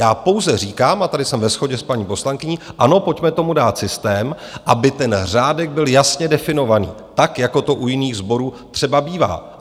Já pouze říkám - a tady jsem ve shodě s paní poslankyní - ano, pojďme tomu dát systém, aby ten řádek byl jasně definovaný, tak jako to u jiných sborů třeba bývá.